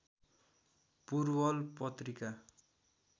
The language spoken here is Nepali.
पूर्वल पत्रिका